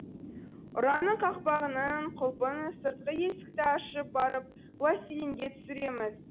ұраның қақпағының құлпын сыртқы есікті ашып барып пластилинге түсіреміз